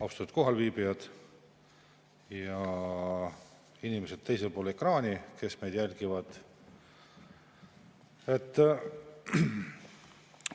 Austatud kohalviibijad ja inimesed teisel pool ekraani, kes meid jälgivad!